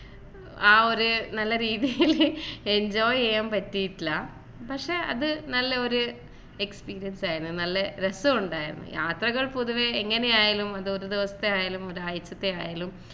ആ ഒരു നല്ല രീതിയിൽ enjoy ചെയ്യാൻ പറ്റിയിട്ടില്ല പക്ഷേ അത് നല്ല ഒരു experience ആയിരുന്നു നല്ല രസമുണ്ടായിരുന്നു യാത്രകൾ പൊതുവെ എങ്ങനെയായാലും അത് ഒരു ദിവസത്തെ ആയാലും ഒരാഴ്ചത്തെ ആയാലും